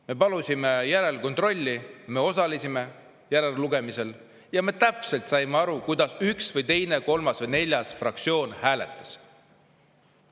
Me palusime järelkontrolli, me osalesime järellugemisel ja me täpselt saime aru, kuidas üks või teine, kolmas või neljas fraktsioon hääletas.